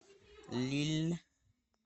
лилль